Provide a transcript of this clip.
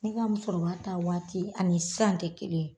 Ne ka musokɔrɔba ta waati ani san tɛ kelen ye